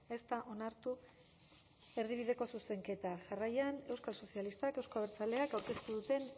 ez da onartu erdibideko zuzenketa jarraian euskal sozialistak euzko abertzaleak aurkeztu duten